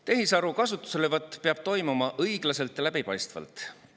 Tehisaru kasutuselevõtt peab toimuma õiglaselt ja läbipaistvalt.